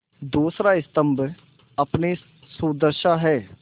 दूसरा स्तम्भ अपनी सुदशा है